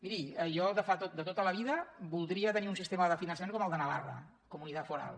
miri jo de tota la vida voldria tenir un sistema de finançament com el de navarra comunitat foral